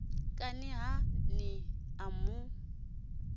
kani ha ni a mu